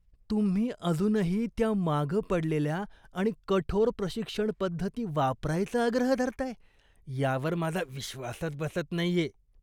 तुम्ही अजूनही त्या मागं पडलेल्या आणि कठोर प्रशिक्षण पद्धती वापरायचा आग्रह धरताय यावर माझा विश्वासच बसत नाहीये!